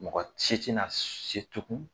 Mɔgɔ ci ti na se tugun